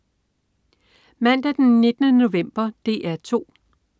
Mandag den 19. november - DR 2: